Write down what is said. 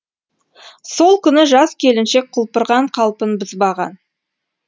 сол күні жас келіншек құлпырған қалпын бұзбаған